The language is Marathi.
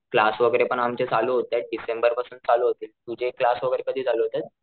क्लास वैगेरे पण आपले चालू होतायत डिसेंबर पासून चालू होतील तुझे क्लास वैगेरे कधी चालू होतायत?